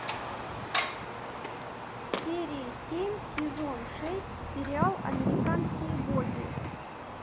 серия семь сезон шесть сериал американские боги